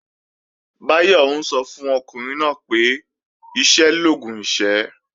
Báyọ̀ ń sọ fún ọkùnrin náà pé "iṣẹ́ l'oògùn ìṣẹ́"